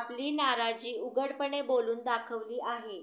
आपली नाराजी उघडपणे बोलून दाखवली आहे